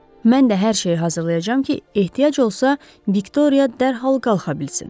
Mən də hər şeyi hazırlayacam ki, ehtiyac olsa, Viktoriya dərhal qalxa bilsin.